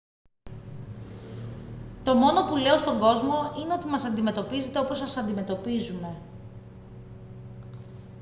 το μόνο που λέω στον κόσμο είναι ότι μας αντιμετωπίζετε όπως σας αντιμετωπίζουμε